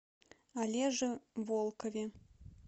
олеже волкове